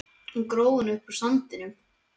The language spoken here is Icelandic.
Hann gróf hana upp úr sandinum!